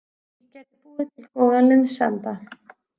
Ég gæti búið til góðan liðsanda.